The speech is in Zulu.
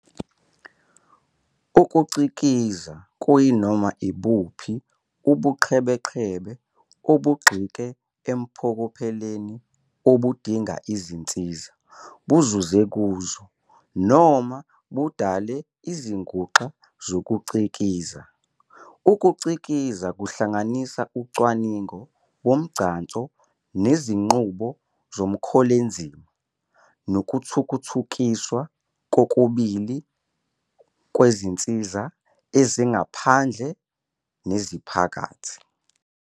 Ukucikiza kuyinoma ibuphi ubuqhebeqhebe obugxike empokopheleni obudinga izinsiza, buzuze kuzo, noma budale izinguxa zokucikiza. Ukucikiza kuhlanganisa ucwaningo nomgcanso ngezinqubo zomkholezima, nokuthuthukiswa kokubili kwezinsiza ezingaphandle neziphakathi.